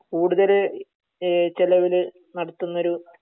കൂടുതല് ഏഹ് ചെലവില് നടത്തുന്നൊരു